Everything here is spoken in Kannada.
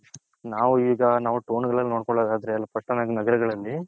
ನಾವು ಈಗ ನಾವು ಟೌನ್ ಗಳಲ್ಲಿ ನೋಡ್ಕೊಳದದ್ರೆ ಪಟ್ಟಣ ನಗರಗಳಲ್ಲಿ.